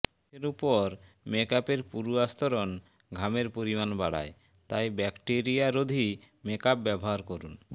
মুখের ওপর মেকআপের পুরু আস্তরণ ঘামের পরিমাণ বাড়ায় তাই ব্যাকটেরিয়ারোধী মেকআপ ব্যবহার করুন